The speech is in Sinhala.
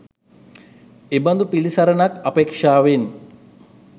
එබඳු පිළිසරණක් අපේක්ෂාවෙන්